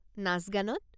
নাচ-গানত?